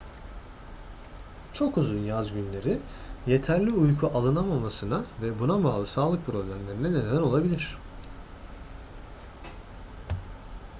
çok uzun yaz günleri yeterli uyku alınamamasına ve buna bağlı sağlık problemlerine neden olabilir